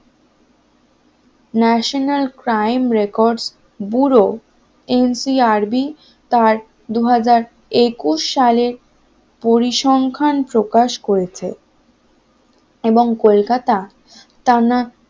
national crime record bureau N C R B তার দুই হাজার একুশ সালের পরিসংখ্যান প্রকাশ করেছে এবং কলকাতা টানা